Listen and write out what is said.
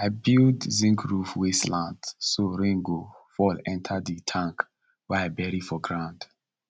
i build zinc roof wey slant so rain go fall enter the tank wey i bury for ground